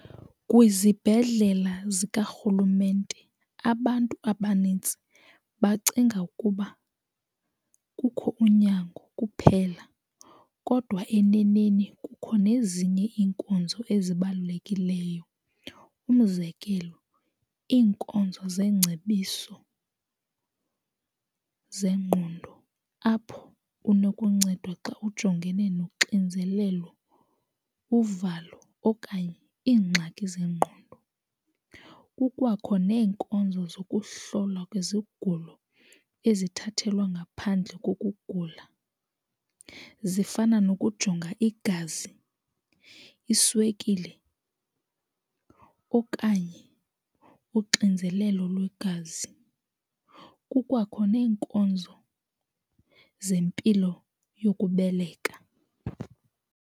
Kwizibhedlela zikarhulumente abantu abanintsi bacinga ukuba kukho unyango kuphela kodwa eneneni kukho nezinye iinkonzo ezibalulekileyo. Umzekelo iinkonzo zeengcebiso zengqondo, apho unokuncedwa xa ujongene noxinzelelo, uvalo okanye iingxaki zengqondo. Kukwakho neenkonzo zokuhlolwa kwezigulo ezithathelwa ngaphandle kokugula, zifana nokujonga igazi, iswekile okanye uxinzelelo lwegazi. Kukwakho neenkonzo zempilo yokubeleka.